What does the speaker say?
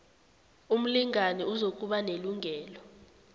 umlingani uzokuba nelungelo